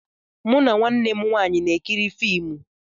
Mụ na nwanne m nwanyị na-ekiri fiimu.